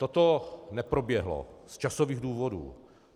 Toto neproběhlo z časových důvodů.